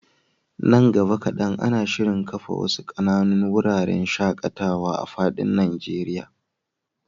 Nan gaba kaɗan, ana shirin kafa wasu ƙananun wuraren shaƙatawa a fadin Najeriya.